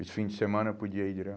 E os fins de semana eu podia ir